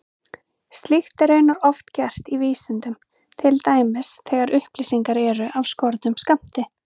Slíkt er raunar oft gert í vísindum, til dæmis þegar upplýsingar eru af skornum skammti.